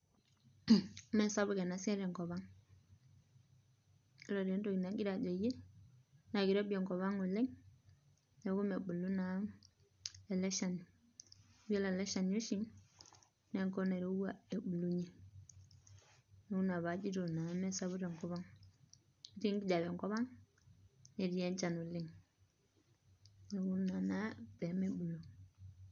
Uh me sapuk ena siai te kop ang, ore etoki nagira ajoyie naa keirobi enkop ang' oleng' neaku mebulu naa ele shani. Yiolo ele shani oshi naa enkop nairowua ebulunye, neaku ina naa paajito mesapuk te nkop ang' ketii ekijape enkop ang netii enchan oleng' neaku ina naa pee mebulu